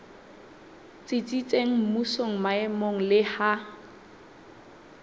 tsitsitseng mmusong maemong le ha